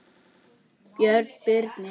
Björn Birnir.